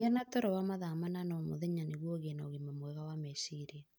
Gĩa na toro wa mathaa 8 o mũthenya nĩguo ũgĩe na ũgima mwega wa meciria.